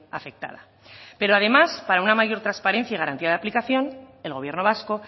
afectada pero además para una mayor transparencia y garantía de aplicación el gobierno vasco